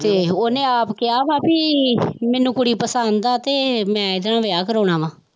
ਤੇ ਉਹਨੇ ਆਪ ਕਿਹਾ ਵਾ ਵੀ ਮੈਨੂੰ ਕੁੜੀ ਪਸੰਦ ਆ ਤੇ ਮੈਂ ਇਹਦੇ ਨਾਲ ਵਿਆਹ ਕਰਵਾਉਣਾ ਵਾਂ